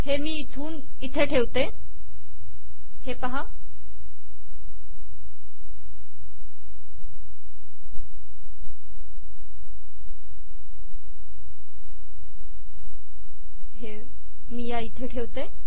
हे मी इथून इथे ठेवते